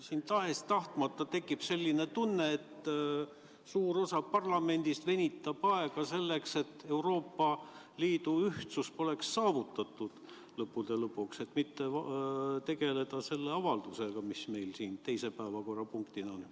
Siin tekib tahes-tahtmata selline tunne, et suur osa parlamendist venitab aega, selleks et Euroopa Liidu ühtsus ei saaks lõppude lõpuks saavutatud, et mitte tegeleda selle avaldusega, mis meil siin päevakorras on.